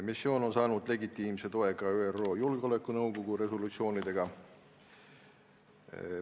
Missioon on saanud legitiimse toe ka ÜRO Julgeolekunõukogu resolutsioonidega.